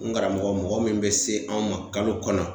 N karamɔgɔ mɔgɔ min be se an ma kalo kɔnɔ